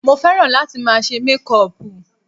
Mo fẹ́ràn láti máa ṣe mékùpù